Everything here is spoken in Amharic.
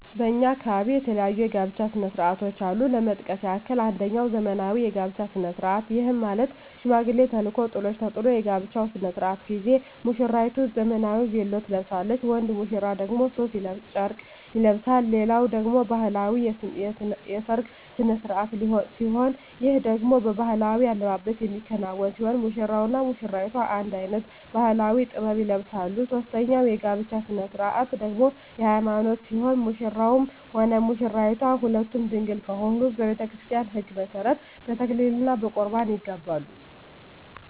በእኛ አካባቢ የተለያዩ የጋብቻ ስነ ስርዓቶች አሉ ለመጥቀስ ያክል አንጀኛው ዘመናዊ የጋብቻ ስነ ስርዓት ይህም ማለት ሽማግሌ ተልኮ ጥሎሽ ተጥሎ የጋብቻው ስነ ስርዓት ጊዜ ሙስራይቱ ዘመናዊ ቬሎ ትለብሳለች ወንድ ሙሽራው ደግሞ ሡፍ ጨርቅ ይለብሳል ሌላኛው ደግሞ ባህላዊ የሰርግ ስነ ስርዓት ሲሆን ይህ ደግሞ በባህላዊ አልባሳት የሚከናወን ሲሆን ሙሽራው እና ሙሽሪቷ አንድ አይነት ባህላዊ(ጥበብ) ይለብሳሉ ሶስተኛው የጋብቻ ስነ ስርዓት ደግሞ የሀይማኖት ሲሆን ሙሽራውም ሆነ ሙሽራይቷ ሁለቱም ድንግል ከሆኑ በቤተክርስቲያን ህግ መሠረት በተክሊል እና በቁርባን ይጋባሉ።